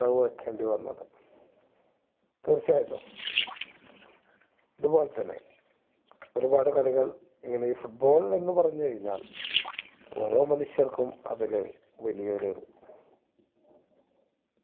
റവ് വെക്കേണ്ടി വന്നത് തീർച്ചയായിട്ടും ഇതുപോലെ തന്നെ ഒരുപാട് കളികൾ ഇങ്ങനെ foot ball എന്നുപറഞ്ഞു കഴിഞ്ഞാൽ ഓരോ മനുഷ്യർക്കും അതില് വലിയൊരു